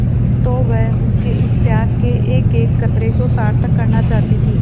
तो वह उसके इस त्याग के एकएक कतरे को सार्थक करना चाहती थी